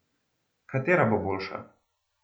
Katera bo boljša?